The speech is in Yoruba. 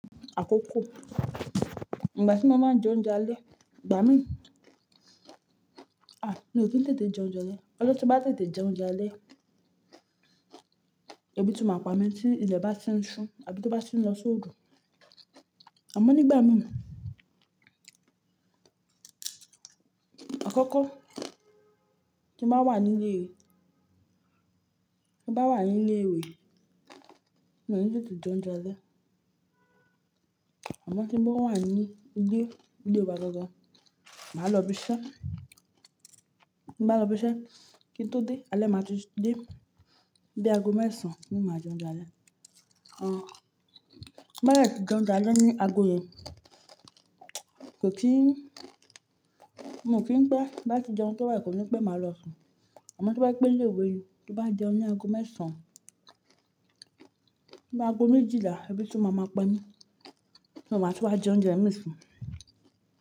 Àkọ́kọ́, ìgbà tí mo máa ń jẹ oúnjẹ alẹ́, ìgbà mí, a! Mi ò kì n tètè jẹ oúnjẹ alẹ́. Ọjọ́ tí n bá tètè jẹ oúnjẹ alẹ́, ẹbí tún máa pa mí tí ilẹ̀ bá ti ń ṣú àbí tó bá ti ń lọ sóòru. Àmọ́ nígbà mí, àkọ́kọ́ tí n bá wà ní ilé, tí bá wà ní ilé ìwé, mi ò ńi tètè jẹ oúnjẹ alẹ́. Àmọ́ tí mo wà ní ilé, ilé wa gangan, màá lọ ibi iṣẹ́. Tí n bá lọ ibi iṣẹ́, kí n tó dé, alẹ́ màá ti dé, bí aago mẹ́sàn-án ni máa jẹ oúnjẹ alẹ́. Àn, tí n bá dé tí jẹ oúnjẹ alẹ́ ní aago yẹn, kò kí n, mo kí n pé bá ti jẹun tán báyìí, kò ní pé màá lọ sùn. Àmọ́ tó bá jẹ́ pé ní ilé ìwé ni, tó n bá jẹun ní aago mẹ́sàn-án, bí aago méjìlà ẹbí tún máa ma pa mí, so màá tún wá jẹ oúnjẹ mi sí.